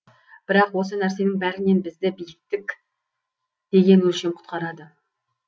бірақ осы нәрсенің бәрінен бізді биіктік деген өлшем құтқарады